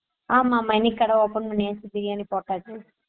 ஆமா ஆமா இனிக்கு கடை opening நேத்து பிரியாணி போட்டாச்சு